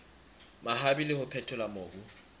mabapi le ho phethola mobu